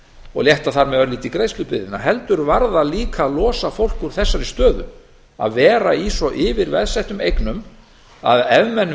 og létta þar með örlítið greiðslubyrðina heldur var það líka að losa fólk úr þessari stöðu að vera í svo yfirveðsettum eignum að ef menn